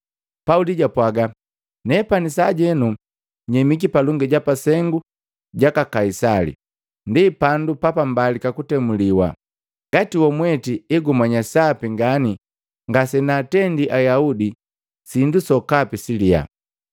Pauli japwaaga, “Nepani sajenu nyemiki palongi ja pasengu jaka Kaisali, ndi pandu pa mbalika kutemliwa. Ngati wamweti egumanya sapi ngani ngasenaatendi Ayaudi sindu sokapi siliya.